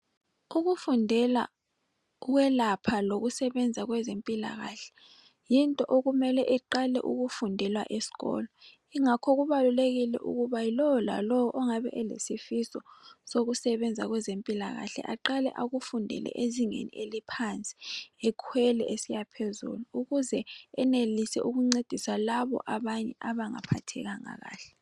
Ukufundela ukwelapha lokusebenza kwezempilakahle yinto okumele iqale ukufundelwa esikolo ingakho kubalulekile ukuba yilowo lalowo ongaba elesifiso sokusebenza kwezempilakahle aqale akufundele ezingeni eliphansi ekwela esiya phezulu ukuze enelisa ukusiza Labo abanye abangaphathekanga kahle